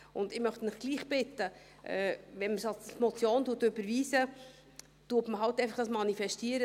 Ich möchte Sie trotzdem bitten, wenn man es als Motion überweist, manifestiert man einfach: